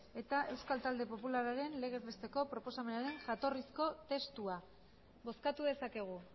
eta euskal talde popularraren legez besteko proposamenaren jatorrizko testua bozkatu dezakegu